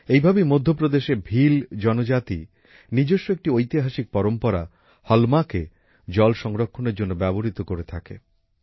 এই ভাবেই মধ্যপ্রদেশের ভিল জনজাতি নিজস্ব একটি ঐতিহাসিক পরম্পরা হলমাকে জল সংরক্ষণের জন্য ব্যবহৃত করে থাকে